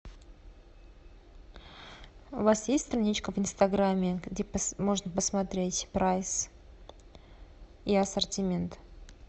у вас есть страничка в инстаграме где можно посмотреть прайс и ассортимент